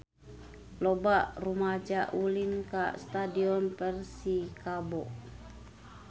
Loba rumaja ulin ka Stadion Persikabo